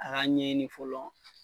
A ka ɲɛɲini fɔlɔ